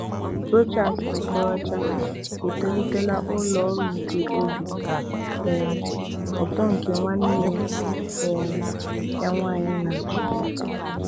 Rochas Okorocha etolitela ụlọ ọrụ nke obi um ụtọ nke nwanne um ya nwanyị na-achị.